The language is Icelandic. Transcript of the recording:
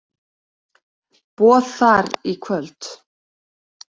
Boð þar í kvöld.